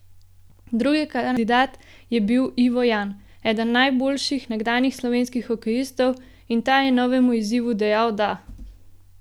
Drugi kandidat je bil Ivo Jan, eden najboljših nekdanjih slovenskih hokejistov, in ta je novemu izzivu dejal da!